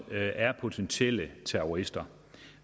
er potentielle terrorister